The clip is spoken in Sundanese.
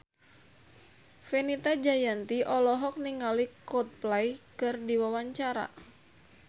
Fenita Jayanti olohok ningali Coldplay keur diwawancara